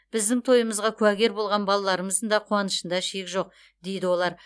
біздің тойымызға куәгер болған балаларымыздың да қуанышында шек жоқ дейді олар